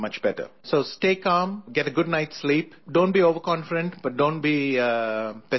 So stay calm, get a good night's sleep, don't be overconfident but don't be pessimistic either